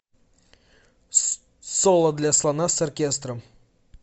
соло для слона с оркестром